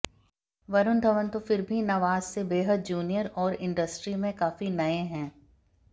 वरुण धवन तो फिर भी नवाज से बेहद जूनियर और इंडस्ट्री में काफी नये हैं